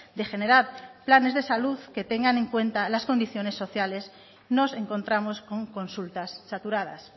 de generar planes de salud que tengan en cuenta las condiciones sociales nos encontramos con consultas saturadas